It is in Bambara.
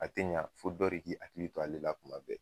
A te ɲɛ, fo dɔ de k'i hakili to ale la kuma bɛɛ.